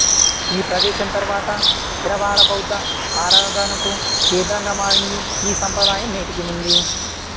ఈ ప్రదేశం తరువాత థెరవాడ బౌద్ధ ఆరాధనకు కేంద్రంగా మారింది ఈ సంప్రదాయం నేటికీ ఉంది